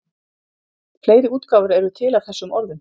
fleiri útgáfur eru til af þessum orðum